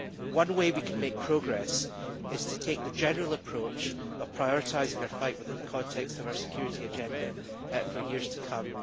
One way we can make progress is to take the general approach of prioritising our fight within the context of our security agenda for years to come.